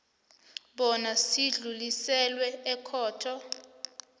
bona sidluliselwe ekhotho